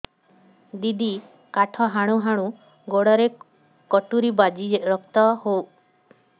ଦିଦି କାଠ ହାଣୁ ହାଣୁ ଗୋଡରେ କଟୁରୀ ବାଜି ରକ୍ତ ବୋହୁଛି କଣ କରିବି